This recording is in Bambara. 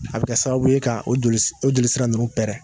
A bi sababu ye ka o joli o jolisira nonnu pɛrɛn